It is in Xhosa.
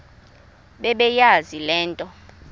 bebeyazi le nto